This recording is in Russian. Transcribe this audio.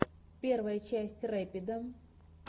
первая часть рэпида